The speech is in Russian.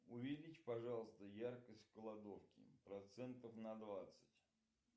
увеличь пожалуйста яркость в кладовке процентов на двадцать